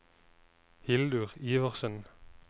Hildur Iversen